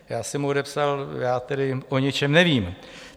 Já jsem mu odepsal - já tedy o ničem nevím.